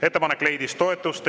Ettepanek leidis toetust.